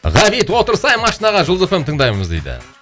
ғабит отырсай машинаға жұлдыз эф эм тыңдаймыз дейді